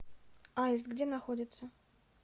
аист где находится